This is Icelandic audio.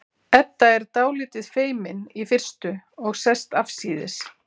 Edda er dálítið feimin í fyrstu og sest afsíðis.